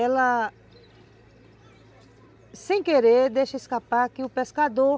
Ela, sem querer, deixa escapar que o pescador